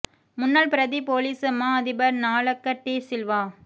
முன்னாள் பிரதிப் பொலிஸ் மா அதிபர் நாலக்க டீ சில்வா